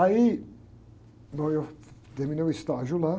Aí, bom, eu terminei o estágio lá.